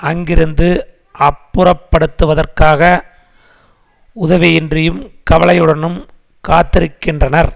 அங்கிருந்து அப்புறப்படுத்துவதற்காக உதவியின்றியும் கவலையுடனும் காத்திருக்கின்றனர்